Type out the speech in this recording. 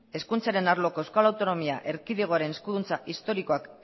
hezkuntzaren arloko euskal autonomia erkidegoaren eskuduntza historikoak